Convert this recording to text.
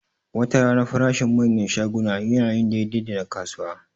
Watarana farashin manyan shaguna yana yin daidai da na kasuwa